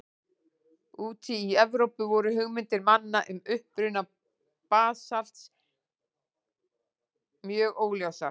Úti í Evrópu voru hugmyndir manna um uppruna basalts mjög óljósar.